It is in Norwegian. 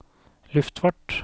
luftfart